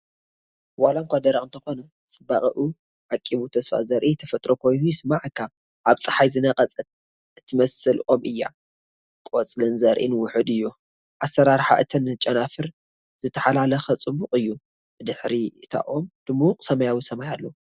ዋላ እኳ ደረቕ እንተኾነ፡ ጽባቐኡ ዓቂቡ ተስፋ ዘርኢ ተፈጥሮ ኮይኑ ይስምዓካ። ኣብ ጸሓይ ዝነቐጸት እትመስል ኦም እያ፣ ቆጽልን ዘርኡን ውሑድ እዩ። ኣሰራርሓ እተን ጨናፍር ዝተሓላለኸን ጽቡቕን እዩ። ብድሕሪ እታ ኦም ድሙቕ ሰማያዊ ሰማይ ኣሎ።